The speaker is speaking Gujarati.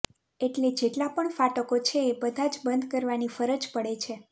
એટ્લે જેટલા પણ ફાટકો છે એ બધા જ બંધ કરવાની ફરજ પડે છે